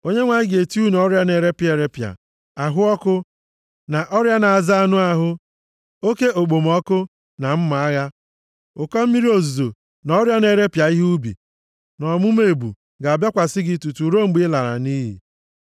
Onyenwe anyị ga-eti unu ọrịa na-eripịa eripịa, ahụ ọkụ na ọrịa na-aza anụ ahụ, oke okpomọkụ na mma agha, ụkọ mmiri ozuzo na ọrịa na-eripịa ihe ubi, na ọmụma ebu ga-abịakwasị gị tutu ruo mgbe i lara nʼiyi.